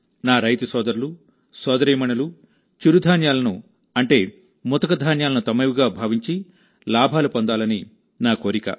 నా రైతు సోదరులు సోదరీమణులు చిరుధాన్యాలను అంటే ముతక ధాన్యాలను తమవిగా భావించి లాభాలు పొందాలని నా కోరిక